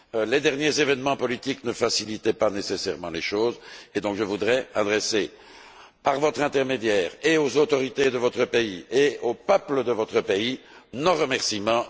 Les derniers événements politiques ne facilitaient pas forcément les choses, et je voudrais donc adresser, par votre intermédiaire, à la fois aux autorités de votre pays et au peuple de votre pays, nos remerciements.